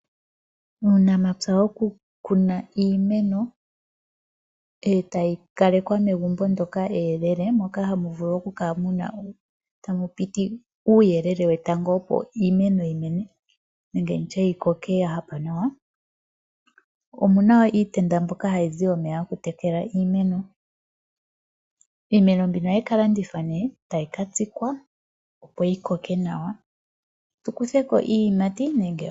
Uunamapya wo kukuna iimeno etayi kalekwa megumbo moka muyelele moka hamu vulu okukala tamu piti oonte dhetango opo iimano yimene nenge nditye yikoke yahapa nawa. Omuna wo iitenda mbyoka hayi zi omeya gokutekela iimeno, iimeno mbika ohayi ka landithwa ne tayi ka tsikwa opo yikoke nawa tukutheko iiyimati.